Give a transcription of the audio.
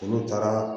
Olu taara